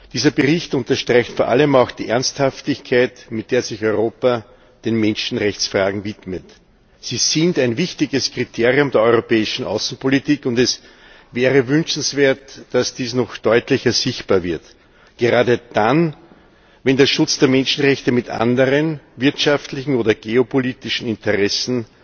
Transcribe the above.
Dieser Bericht unterstreicht vor allem auch die Ernsthaftigkeit, mit der sich Europa den Menschenrechtsfragen widmet. Sie sind ein wichtiges Kriterium der europäischen Außenpolitik, und es wäre wünschenswert, dass dies noch deutlicher sichtbar wird gerade dann, wenn der Schutz der Menschenrechte mit anderen wirtschaftlichen oder geopolitischen Interessen